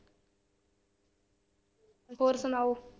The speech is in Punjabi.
ਹੋਰ ਸੁਣਾਓ।